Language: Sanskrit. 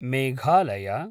मेघालय